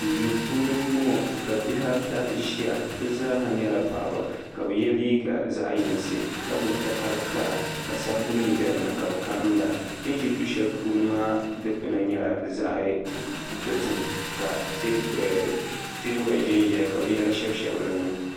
Duu puuni m-bɔŋɔ ka bihi ata ʒiya bɛ zaaha nyɛla paɣiba ka bɛ ye liiga zaɣ'yinsi ka gbubi takar'kara ka sabbu nima be dini ka bɛ karinda bɛ ni ʒi du'shɛli puuni maa dukpuna nyɛla zaɣ'dozim ka teebuya ʒenʒeya ka binyɛra shɛbi shɛbi dini.